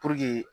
Puruke